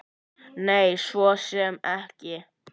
Nei, svo sem ekki.